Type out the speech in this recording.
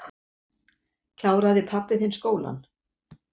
Kláraði pabbi þinn skólann?